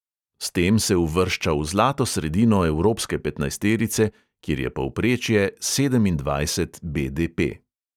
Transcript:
S tem se uvršča v zlato sredino evropske petnajsterice, kjer je povprečje sedemindvajset BDP.